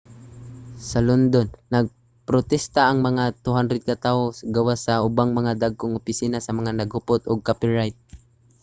sa london nagprostesta ang mga 200 ka tawo gawas sa ubang mga dagkong opisina sa mga naghupot og copyright